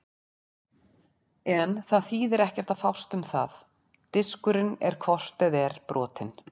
En það þýðir ekkert að fást um það, diskurinn er hvort eð er brotinn.